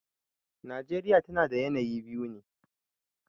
Najeriya tana da yanayi biyu ne.